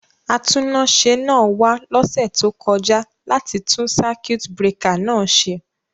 Atúnáṣe náà wa lósẹ̀ to kojá láti tun circuit breaker náà se